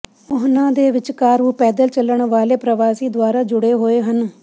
ਉਹਨਾਂ ਦੇ ਵਿਚਕਾਰ ਉਹ ਪੈਦਲ ਚਲਣ ਵਾਲੇ ਪ੍ਰਵਾਸੀ ਦੁਆਰਾ ਜੁੜੇ ਹੋਏ ਹਨ